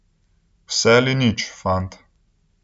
Vse ali nič, fant.